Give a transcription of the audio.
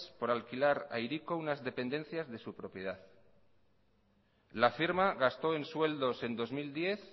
por alquilar a hiriko unas dependencias de su propiedad la firma gastó en sueldos en dos mil diez